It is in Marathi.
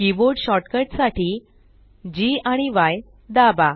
कीबोर्ड शॉर्टकट साठी Gआणि य दाबा